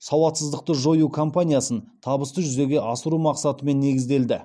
сауатсыздықты жою кампаниясын табысты жүзеге асыру мақсатымен негізделді